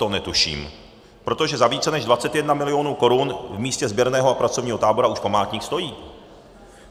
To netuším, protože za více než 21 milionů korun v místě sběrného a pracovního tábora už památník stojí.